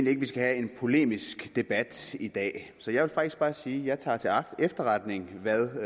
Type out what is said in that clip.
ikke vi skal have en polemisk debat i dag så jeg vil faktisk bare sige at jeg tager til efterretning hvad